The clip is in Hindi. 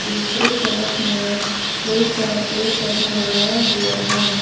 दूसरे तरफ में बहुत सारा पेड़ पौधा लगाया हुआ है।